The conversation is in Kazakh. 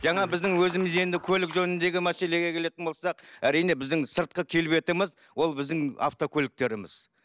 жаңа біздің өзіміз енді көлік жөніндегі мәселеге келетін болсақ әрине біздің сыртқы келбетіміз ол біздің автокөліктеріміз